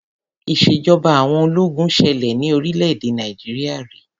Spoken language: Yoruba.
Ìṣèjọba àwọn ológun ṣẹlẹ ní orílẹ̀-èdè Nàìjíríà ri.